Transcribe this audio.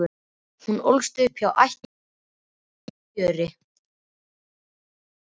Hún ólst upp hjá ættingjum sínum á Gjögri.